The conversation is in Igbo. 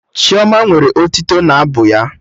Chioma nwere otito n'abụ ya